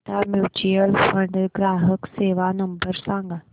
Tata mutual fund ग्राहक सेवा number सांगा